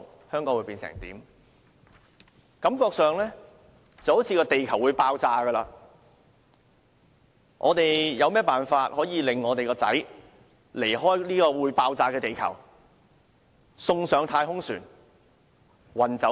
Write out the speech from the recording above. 他們感到地球好像會爆炸，於是便設法令自己的兒子離開這個會爆炸的地球，把他送上太空船運走。